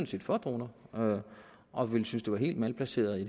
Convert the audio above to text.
set for droner og og ville synes det var helt malplaceret i